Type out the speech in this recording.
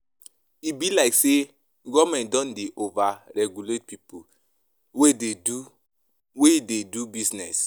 E be like sey government don dey over-regulate pipo wey dey do, wet de do business.